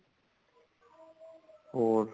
ਹੋਰ